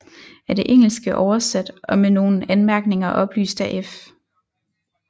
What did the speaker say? Af det engelske oversat og med nogle anmærkninger oplyst af F